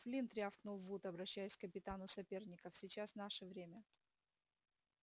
флинт рявкнул вуд обращаясь к капитану соперников сейчас наше время